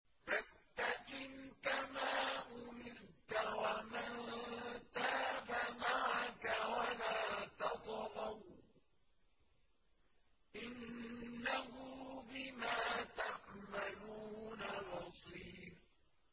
فَاسْتَقِمْ كَمَا أُمِرْتَ وَمَن تَابَ مَعَكَ وَلَا تَطْغَوْا ۚ إِنَّهُ بِمَا تَعْمَلُونَ بَصِيرٌ